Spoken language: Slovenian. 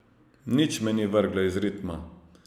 Nič me ni vrglo iz ritma.